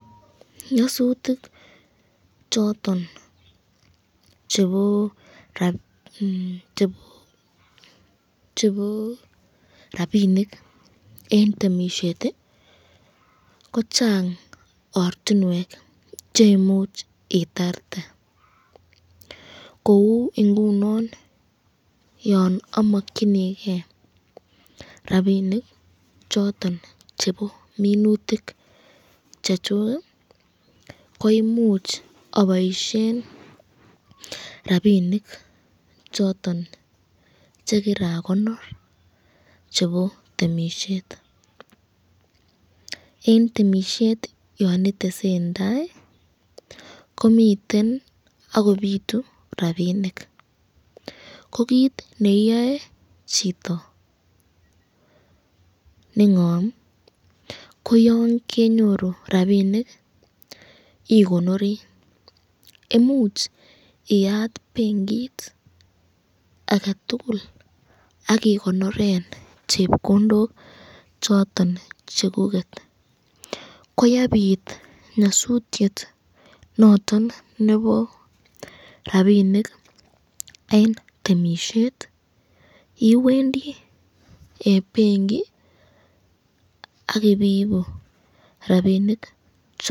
Nyasutik choton chebo rapinik eng temisyet, ko Chang ortinwek cheimuch itarte, kou ingunon yon amskyiniken rapinik choton chebo minutik chechuk ko imuch aboisyen rapinik choton chekirakonor chebo temisyet, eng temisyet yan itesen tai ko miten akobitu rapinik ko kit neiyoe chito nengam ko yan kenyoru rapinik ikonori, imuch iyat benkit aketukul akikonoren chepkondok choton chekuket ,ko yebit nyasutyet noton nebo rapinik eng temisyet, iwendi benki akibiibu rapinik choton.